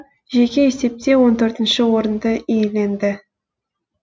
жеке есепте он төртінші орынды иеленді